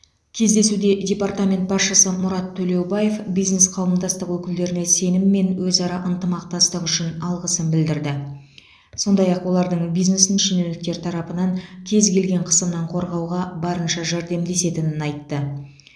кездесуде департамент басшысы мұрат төлеубаев бизнес қауымдастық өкілдеріне сенім мен өзара ынтымақтастық үшін алғысын білдірді сондай ақ олардың бизнесін шенеуніктер тарапынан кез келген қысымнан қорғауға барынша жәрдемдесетінін айтты